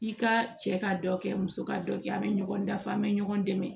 I ka cɛ ka dɔ kɛ muso ka dɔ kɛ a be ɲɔgɔn dafa an be ɲɔgɔn dɛmɛ